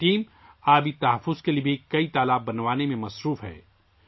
یہ ٹیم پانی کے تحفظ کے لیے کئی تالاب بنانے میں بھی لگی ہوئی ہے